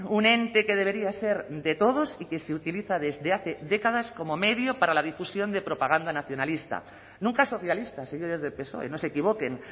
un ente que debería ser de todos y que se utiliza desde hace décadas como medio para la difusión de propaganda nacionalista nunca socialista señores del psoe no se equivoquen